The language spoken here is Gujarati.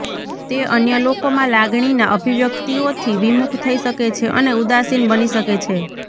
તે અન્ય લોકોમાં લાગણીના અભિવ્યક્તિઓથી વિમુખ થઈ શકે છે અને ઉદાસીન બની શકે છે